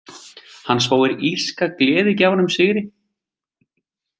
Hann spáir írska gleðigjafanum sigri.